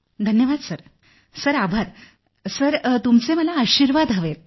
धन्यवाद sir sir आभार sir तुमचे मला आशीर्वाद हवेत